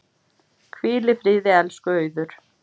Hvíl í friði, elsku Auður.